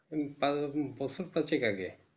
এই বছর পাঁচেক আগে